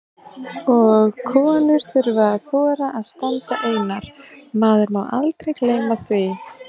Og konur þurfa að þora að standa einar, maður má aldrei gleyma því!